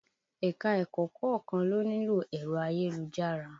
Ẹ̀ka-ẹ̀kọ́ kọ̀ọ́kan ló nílò ẹ̀rọ ayélujára